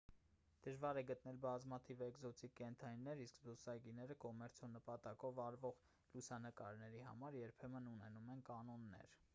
դժվար է գտնել բազմաթիվ էկզոտիկ կենդանիներ իսկ զբոսայգիները կոմերցիոն նպատակներով արվող լուսանկարների համար երբեմն ունենում են կանոններ